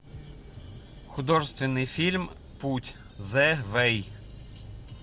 художественный фильм путь зэ вэй